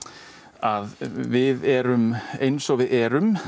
að við erum eins og við erum